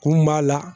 Kunun b'a la